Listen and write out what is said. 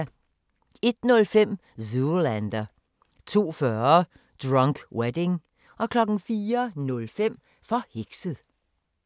01:05: Zoolander 02:40: Drunk Wedding 04:05: Forhekset